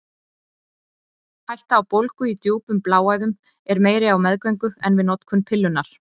Hætta á bólgu í djúpum bláæðum er meiri á meðgöngu en við notkun pillunnar.